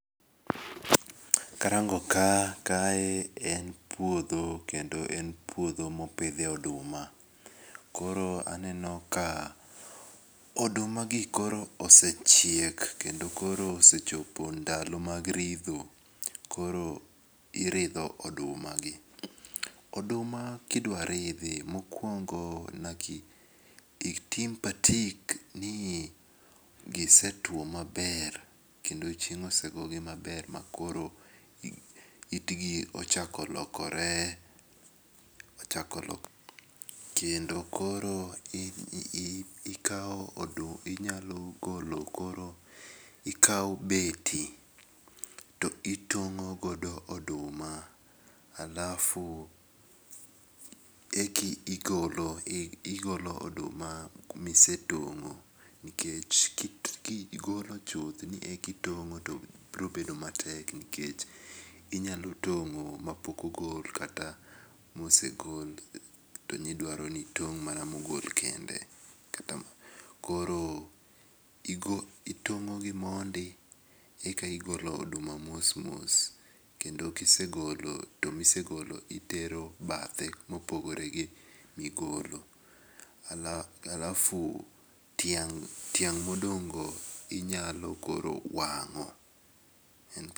Karango ka kae en puodho kendo en puodho mopithie oduma, koro aneno ka odumagi koro osechiek kendo koro osechopo ndalo mag ritho, koro iridho odumagi. Oduma kidwaridhi mokuongo nyaki itim patik ni gisetwo maber kendo chieng' osegogi maber makor yitgi ochako lokore kendo koro ikawo oduma inyalo golo koro, ikawo beti to itong'o godo oduma, alafu eki igolo oduma misegolo nikech kigolo chuth ni eki gong'o to brobet matek nikech inyalo tong'o mapok ogol kata mosegol to nidwaro ni itong' mana mosegol kende, koro itong'ogi mondi eka igolo oduma mos mos kendo kisegolo to misegolo itero bathekuma opogore gi misegolo, alafu tiang' modong'go inyalo koro wang'o.